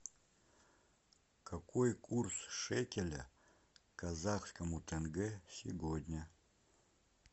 какой курс шекеля к казахскому тенге сегодня